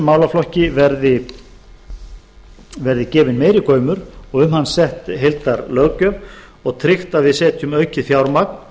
málaflokki verði gefinn meiri gaumur og um hann sett heildarlöggjöf og tryggt að við setjum aukið fjármagn